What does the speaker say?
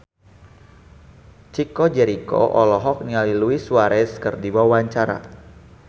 Chico Jericho olohok ningali Luis Suarez keur diwawancara